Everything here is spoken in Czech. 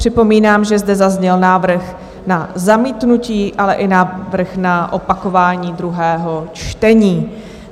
Připomínám, že zde zazněl návrh na zamítnutí, ale i návrh na opakování druhého čtení.